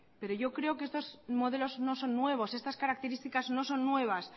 pero yo creo que estos modelos no son nuevos estas características no son nuevas